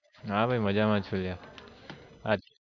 હા ભાઈ મજામાં છું yaar